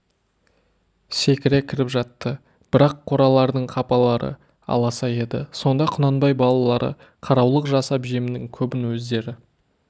секіре кіріп жатты бірақ қоралардың қапалары аласа еді сонда құнанбай балалары қараулық жасап жемнің көбін өздері